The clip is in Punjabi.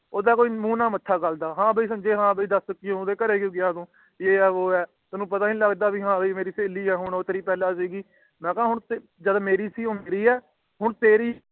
ਓਹਦਾ ਕੋਈ ਮੂੰਹ ਨਾਲ ਮੱਥਾ ਗਲਦਾ ਹੈ ਭਾਈ ਸੰਜੇ ਹੈ ਭਾਈ ਕਿ ਗੱਲ ਹੋਈਂ ਕਿ ਤੂੰ ਓਹਦੇ ਘਰੇ ਕਯੋ ਗਿਆ ਤੂੰ ਇਹ ਹੈ ਉਹ ਹੈ ਤੈਨੂੰ ਪਤਾ ਨੀ ਲੱਗਦਾ ਕਿ ਉਹ ਸਹੇਲੀ ਹੈ ਹੋਣ ਮੇਰੀ ਤੇਰੀ ਪਹਿਲਾ ਸੀਗੀ ਆਹ ਜਦ ਉਹ ਮੇਰੀ ਸੀ ਉਹ ਮੇਰੀ ਹੈ ਜਦ ਤੇਰੈ ਸੀ